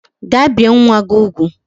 Gaa bie nwa gi ugwu